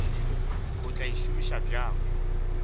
o tla e šomiša bjang